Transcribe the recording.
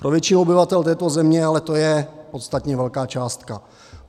Pro většinu obyvatel této země ale to je podstatně velká částka.